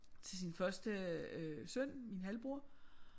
Til sin første øh søn min halvbror